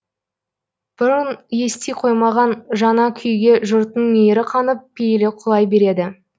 бұрын ести қоймаған жаңа күйге жұрттың мейірі қанып пейілі құлай береді